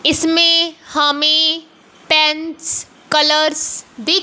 इसमें हमें pens colours दिख--